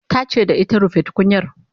ta ce da ita "rufe tukunyar"